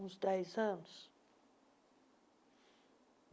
Uns dez anos?